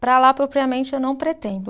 Para lá, propriamente, eu não pretendo.